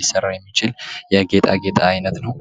ሊሰራ የሚችል የጌጣጌጥ አይነት ነው።